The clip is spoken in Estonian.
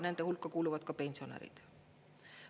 Nende hulka kuuluvad ka pensionärid.